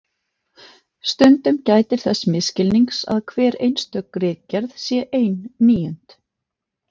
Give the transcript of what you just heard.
Stundum gætir þess misskilnings að hver einstök ritgerð sé ein níund.